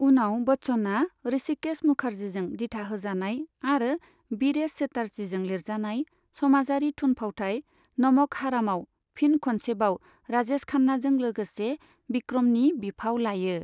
उनाव बच्चनआ ऋषिकेश मुखर्जीजों दिथाहोजानाय आरो बीरेश चेटार्जीजों लिरजानाय समाजारि थुनफावथाइ नमक हरामआव फिन खनसेबाव राजेश खन्नाजों लोगोसे विक्रमनि बिफाव लायो।